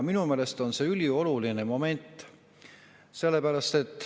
Minu meelest on see ülioluline moment.